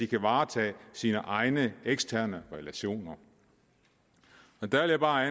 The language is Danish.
kan varetage sine egne eksterne relationer der vil jeg bare